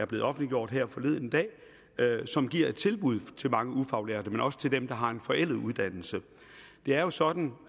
blev offentliggjort her forleden dag som giver et tilbud til mange ufaglærte men også til dem der har en forældet uddannelse det er jo sådan